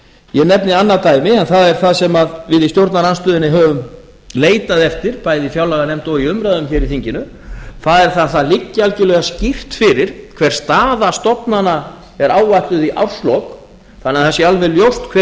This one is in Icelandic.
ég nefni annað dæmi en það er það sem við í stjórnarandstöðunni höfum leitað eftir bæði í fjárlaganefnd og í umræðum hér í þinginu það er það að það liggi algjörlega skýrt fyrir hver staða stofnana er áætluð í árslok þannig að það sé alveg ljóst hver